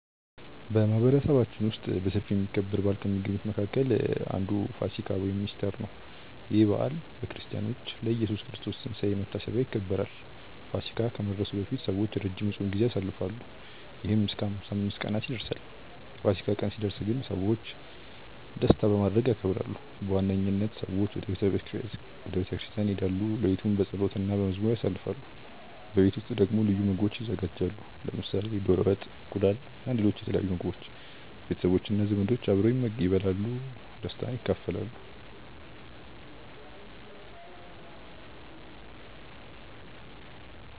በማህበረሰባችን ውስጥ በሰፊ የሚከበር በዓል ከሚገኙት መካከል አንዱ ፋሲካ (ኢስተር) ነው። ይህ በዓል በክርስቲያኖች ለኢየሱስ ክርስቶስ ትንሳኤ መታሰቢያ ይከበራል። ፋሲካ ከመድረሱ በፊት ሰዎች ረጅም የጾም ጊዜ ያሳልፋሉ፣ ይህም እስከ 55 ቀናት ይደርሳል። የፋሲካ ቀን ሲደርስ ግን ሰዎች ደስታ በማድረግ ያከብራሉ። በዋነኝነት ሰዎች ወደ ቤተ ክርስቲያን ይሄዳሉ፣ ሌሊቱን በጸሎት እና በመዝሙር ያሳልፋሉ። በቤት ውስጥ ደግሞ ልዩ ምግቦች ይዘጋጃሉ፣ ለምሳሌ ዶሮ ወጥ፣ እንቁላል እና ሌሎች የተለያዩ ምግቦች። ቤተሰቦች እና ዘመዶች አብረው ይበላሉ እና ደስታን ይካፈላሉ።